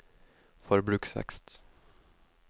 forbruksvekst